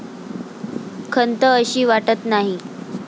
खंत अशी वाटत नाही.